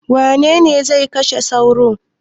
Wane ne zai kashe sauro?